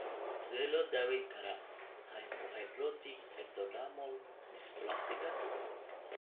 Sidee loo daweyn karaa hypohidrotic ectodermal dysplasiga?